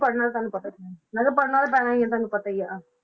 ਪੜ੍ਹਨਾ ਤੁਹਾਨੂੰ ਪਤਾ ਹੀ ਹੈ, ਮੈਂ ਕਿਹਾ ਪੜ੍ਹਨਾ ਤਾਂ ਪੈਣਾ ਹੀ ਹੈ, ਤੁਹਾਨੂੰ ਪਤਾ ਹੀ ਹੈ